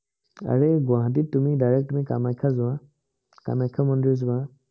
আৰেই গুৱাহাটীত তুমি direct তুমি কামাখ্যা যোৱা। কামাখ্যা মন্দিৰ যোৱা।